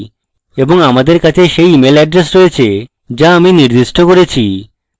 এবং আমাদের কাছে সেই email এড্রেস রয়েছে যা আমি নির্দিষ্ট করেছি